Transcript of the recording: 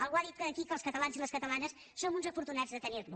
algú ha dit aquí que els catalans i les catalanes som uns afortunats de tenir lo